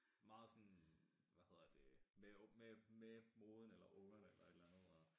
Meget sådan hvad hedder det med med med moden eller ungerne eller et eller andet